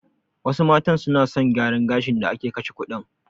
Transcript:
Wasu matan suna son gyaran gashin da ake kashe kuɗin.